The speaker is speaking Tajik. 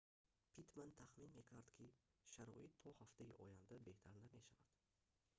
питтман тахмин мекард ки шароит то ҳафтаи оянда беҳтар намешавад